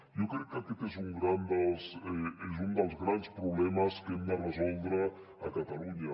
jo crec que aquest és un dels grans problemes que hem de resoldre a catalunya